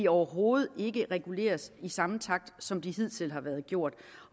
overhovedet ikke reguleres i samme takt som man hidtil har gjort